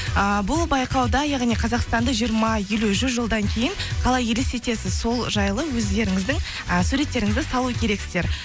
ыыы бұл байқауда яғни қазақстанды жиырма елу жүз жылдан кейін қалай елестетесіз сол жайлы өздеріңіздің і суреттеріңізді салу керексіздер